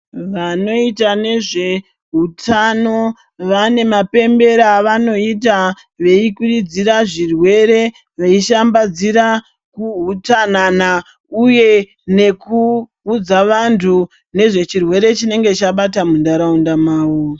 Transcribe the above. Vanoyita nezveutano, vane mapembero avanoyita veyikurudzira zvirwere, veyishambadzira kuhutsanana uye nekuwudza vantu nezvechirwere chinenge chabata muntaraunda mavo.